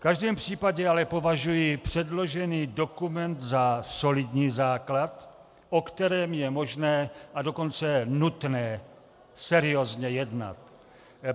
V každém případě ale považuji předložený dokument za solidní základ, o kterém je možné, a dokonce nutné seriózně jednat.